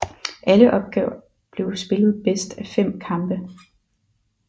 Alle opgør blev spillet bedst af fem kampe